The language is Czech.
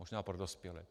Možná pro dospělé.